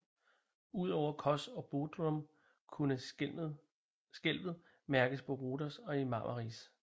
Udover Kos og Bodrum kunne skælvet mærkes på Rhodos og i Marmaris